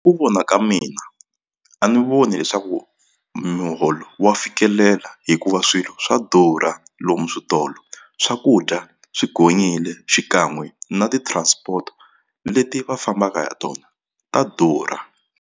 Ku vona ka mina a ni voni leswaku muholo wa fikelela hikuva swilo swa durha lomu switolo swakudya swi gonyile xikan'we na ti-transport leti va fambaka hi tona ta durha.